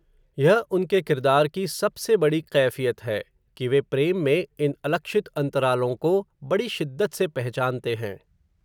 यह, उनके किरदार की, सबसे बड़ी कैफ़ियत है, कि वे प्रेम में, इन अलक्षित अन्तरालों को, बड़ी शिद्दत से पहचानते हैं